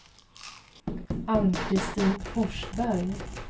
Ann-Kristin Forsberg